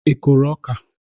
Ị kụrụ ọka?